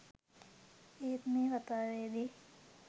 ඒත් මේ කතාවේදී